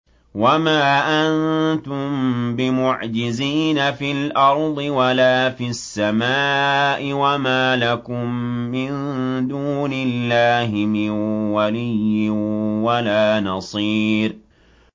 وَمَا أَنتُم بِمُعْجِزِينَ فِي الْأَرْضِ وَلَا فِي السَّمَاءِ ۖ وَمَا لَكُم مِّن دُونِ اللَّهِ مِن وَلِيٍّ وَلَا نَصِيرٍ